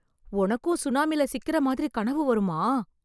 உனக்கும் சுனாமில சிக்குற மாதிரி கனவு வருமா?